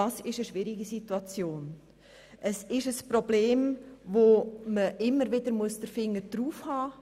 Das ist eine schwierige Situation, und man muss immer wieder den Finger auf dieses Problem halten.